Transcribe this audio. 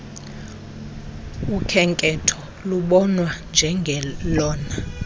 ukhenketho lubonwa njengelona